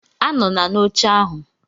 Anọla n'oche ahụ